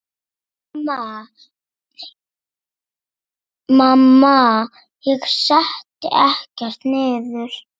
Mamma: Ég setti ekkert niður!